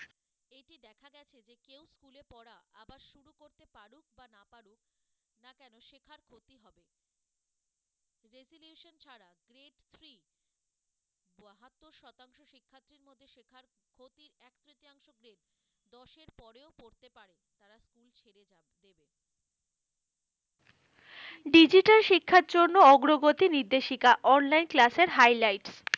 digital শিক্ষার জন্য অগ্রগতি নির্দেশিকা, online class এর highlight,